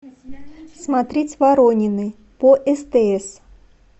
смотреть воронины по стс